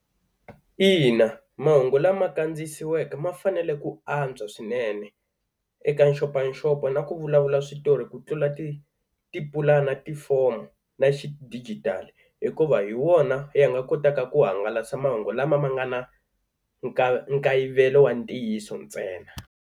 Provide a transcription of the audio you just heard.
Ina mahungu lama kandziyisiweke ma fanele ku antswa swinene eka nxopanxopo na ku vulavula switori ku tlula ti tipulani na tifomu na xidigitali, hikuva hi wona ya nga kotaka ku hangalasa mahungu lama ma nga na nkayivelo wa ntiyiso ntsena.